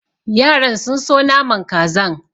Yaran sun so naman kazan.